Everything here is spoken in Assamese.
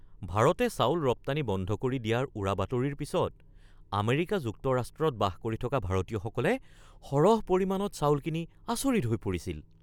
ভাৰতে চাউল ৰপ্তানি বন্ধ কৰি দিয়াৰ উৰাবাতৰিৰ পিছত আমেৰিকা যুক্তৰাষ্ট্ৰত বাস কৰি থকা ভাৰতীয়সকলে সৰহ পৰিমাণত চাউল কিনি আচৰিত হৈ পৰিছিল।